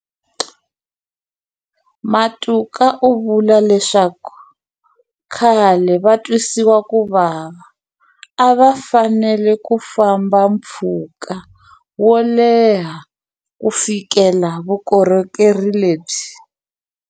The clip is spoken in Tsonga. Matuka u vule leswaku khale vatwisiwakuvava a va fanele ku famba mpfhuka wo leha ku fikelela vukorhokeri lebyi.